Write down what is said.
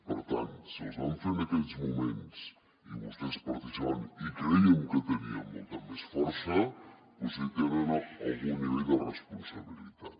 per tant si els vam fer en aquells moments i vostès en participaven i crèiem que teníem molta més força potser hi tenen algun nivell de responsabilitat